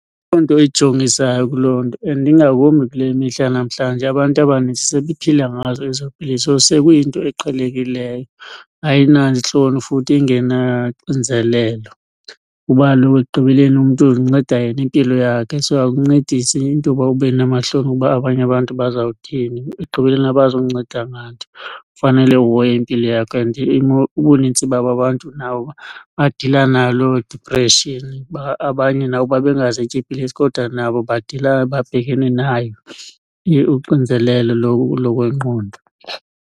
nto ijongisayo kuloo nto, and ingakumbi kule mihla yanamhlanje abantu abanintsi sebephila ngazo ezo pilisi, sekuyinto eqhelekileyo. Ayinantloni futhi ingenaxinzelelo kuba kaloku ekugqibeleni umntu uzinceda yena impilo yakhe. So akuncedisi into uba ube namahloni uba abanye abantu bazawuthini, ekugqibeleni abazukunceda nganto. Kufanele uhoye impilo yakho and imo ubunintsi babo abantu nabo badila naloo depression, abanye nabo babengazityi iipilisi kodwa nabo badila babhekene nayo uxinzelelo lokwengqondo.